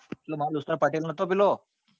મારો દોસ્તાર પટેલ નાતો પેલો